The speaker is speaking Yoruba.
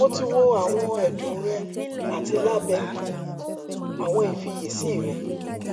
mo ti wo awọn ẹdun rẹ ati labẹ awọn ifiyesi rẹ